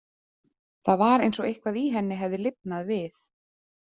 Það var eins og eitthvað í henni hefði lifnað við.